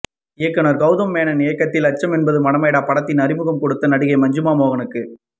இயக்குனர் கெளதம் மேனன் இயக்கிய அச்சம் என்பது மடமையடா படத்தில் அறிமுகம் கொடுத்த நடிகை மஞ்சிமா மோகனுக்கு